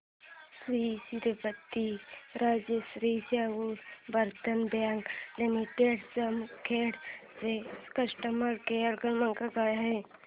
Shri Chhatrapati Rajshri Shahu urban bank limited Jamkhed चा customer care क्रमांक काय आहे